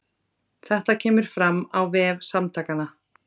Þetta kemur fram á vef Samtakanna